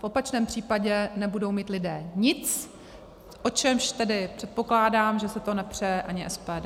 V opačném případě nebudou mít lidé nic, o čemž tedy předpokládám, že si to nepřeje ani SPD.